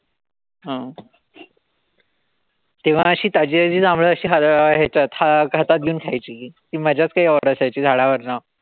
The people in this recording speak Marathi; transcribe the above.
हं तेव्हा अशी ताजीताजी जांभळं अशी हातात घेऊन खायची. ती मजाच काई और असायची झाडावरन.